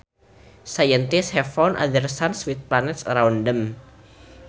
Scientists have found other suns with planets around them